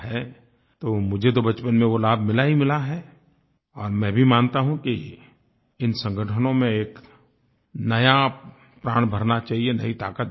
तो मुझे तो बचपन में वो लाभ मिला ही मिला है और मैं भी मानता हूँ कि इन संगठनों में एक नया प्राण भरना चाहिये नई ताक़त भरनी चाहिये